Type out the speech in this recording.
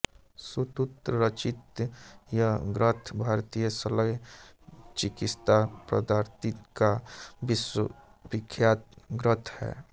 सुश्रुत रचित यह ग्रंथ भारतीय शल्य चिकित्सा पद्धति का विश्वविख्यात ग्रंथ है